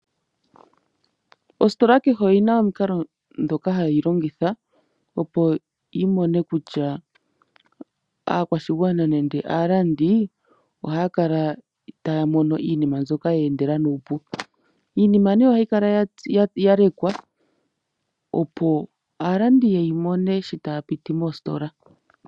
Ositola kehe oyina omikalo dhoka hadhi hayi longitha opo yi mone kutya aakwashigwana nenge aalandi ohaya kala itaya mono iinima mbyoka ya endela nuupu iinima ne ohayi kala ya lekwa opo aalandi yeyi mone shi taya piti mositola.